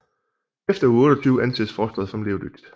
Efter uge 28 anses fostret som levedygtigt